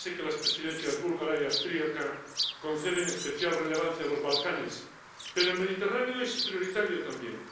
Ya sé que las Presidencias búlgara y austriaca conceden especial relevancia a los Balcanes, pero el Mediterráneo es prioritario también.